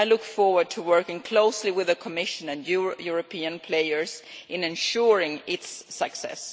I look forward to working closely with the Commission and European players in ensuring its success.